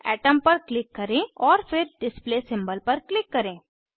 atom पर click करें और फिर डिस्प्ले सिंबल पर क्लिक करें